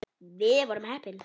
Við vorum heppni.